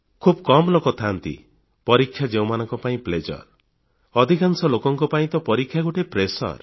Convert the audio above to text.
ଖୁବ କମ ଲୋକ ଥାଆନ୍ତି ପରୀକ୍ଷା ଯେଉଁମାନଙ୍କ ପାଇଁ ଆନନ୍ଦPleasure ଅଧିକାଂଶ ଲୋକଙ୍କ ପାଇଁ ତ ପରୀକ୍ଷା ଗୋଟିଏ ମାନସିକ ଚାପPressure